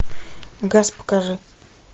газ покажи